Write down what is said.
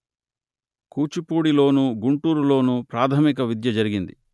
కూచిపూడి లోను గుంటూరు లోను ప్రాథమిక విద్య జరిగింది